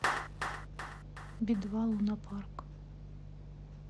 би два лунапарк